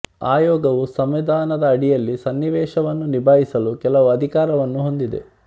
ಆಯೋಗವು ಸಂವಿಧಾನದ ಅಡಿಯಲ್ಲಿ ಸನ್ನಿವೇಶವನ್ನು ನಿಭಾಯಿಸಲು ಕೆಲವು ಅಧಿಕಾರವನ್ನು ಹೊಂದಿದೆ